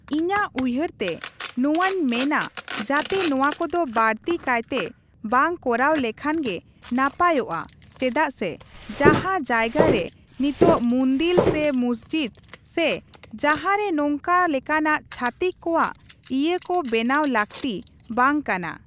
ᱤᱧᱟᱹᱜ ᱩᱭᱦᱟᱹᱨ ᱛᱮ ᱱᱚᱣᱟᱧ ᱢᱮᱱᱟ ᱡᱟᱛᱮ ᱱᱚᱣᱟ ᱠᱚᱫᱚ ᱵᱟᱹᱲᱛᱤ ᱠᱟᱭᱛᱮ ᱵᱟᱝ ᱠᱚᱨᱟᱣ ᱞᱮᱠᱷᱟᱱ ᱜᱮ ᱱᱟᱯᱟᱭᱚᱜᱼᱟ ᱪᱮᱫᱟᱜ ᱥᱮ ᱡᱟᱦᱟᱸ ᱡᱟᱭᱜᱟ ᱨᱮ ᱱᱤᱛᱚᱜ ᱢᱩᱱᱫᱤᱞ ᱥᱮ ᱢᱚᱥᱡᱤᱫ ᱥᱮ ᱡᱟᱦᱟᱸ ᱨᱮ ᱱᱚᱝᱠᱟ ᱞᱮᱠᱟᱱᱟᱜ ᱪᱷᱟᱛᱤᱠ ᱠᱚᱣᱟᱜ ᱤᱭᱟᱹ ᱠᱚ ᱵᱮᱱᱟᱣ ᱞᱟᱹᱠᱛᱤ ᱵᱟᱝ ᱠᱟᱱᱟ ᱾